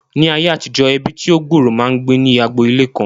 Ní ayé àtijọ́, ẹbí tí ó gbòòrò máa ń gbé ní agbo ilé kan